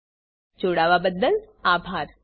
અમને જોડાવાબદ્દલ આભાર